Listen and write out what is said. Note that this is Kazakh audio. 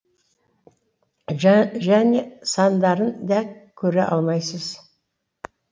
және сандарын да көре алмайсыз